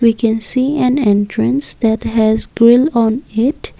we can see and entrance that has grill on it.